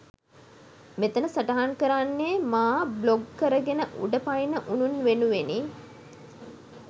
මෙතන සටහන් කරන්නේ මා බ්ලොක් කරගෙන උඩ පනින උනුන් වෙනුවෙනි.